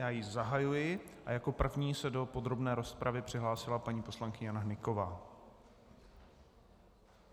Já ji zahajuji a jako první se do podrobné rozpravy přihlásila paní poslankyně Jana Hnyková.